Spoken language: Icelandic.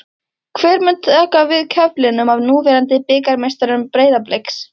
Hver mun taka við keflinu af núverandi bikarmeisturum Breiðabliks?